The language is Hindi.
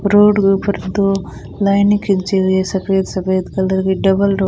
रोड के ऊपर दो लाइने खींची हुई है सफेद सफेद कलर की डबल रो--